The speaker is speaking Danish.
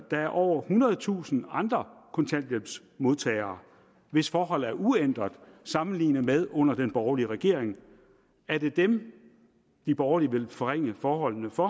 er over ethundredetusind andre kontanthjælpsmodtagere hvis forhold er uændret sammenlignet med under den borgerlige regering er det dem de borgerlige vil forringe forholdene for